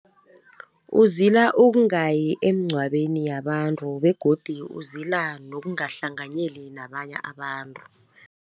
Uzila ukungayi emgcwabeni yabantu, begodu uzila nokungahlanganyeli nabanye abantu.